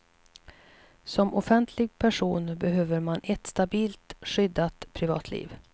Som offentlig person behöver man ett stabilt, skyddat privatliv.